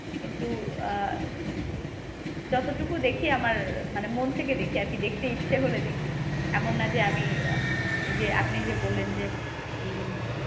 কিন্তু আহ যতটুকু দেখি আমার মানে মন থেকে দেখি আরকি। দেখতে ইচ্ছে হলে দেখি। এমন না যে, আমি আহ এই যে আপনি যে বললেন যে এই